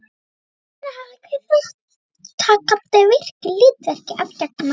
Þannig hafði hver þátttakandi virku hlutverki að gegna.